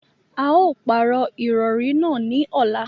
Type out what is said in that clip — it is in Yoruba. À yóò pàró irọ̀rì naá ni ọla.